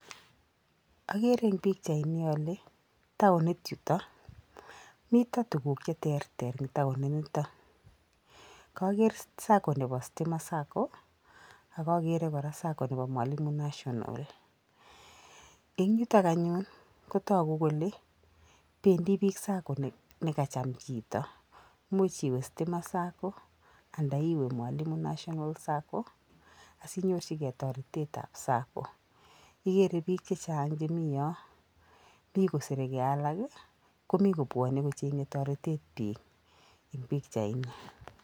Agere eng pichaini ale townit yuto, mito tuguk che terter eng towni nito. Koger sacco nebo stima sacco ,akagere kora sacco nebo mwalimu national. Eng yutok anyun kotagu kole bendi biik sacco neka cham chito much iwe stima sacco anda iwe mwalimu national sacco asi inyorchige toretetab sacco. Igere biik chechang chemi yo, mi kosereke alak, komi kobwone kochenye torite biik eng pikchait ni.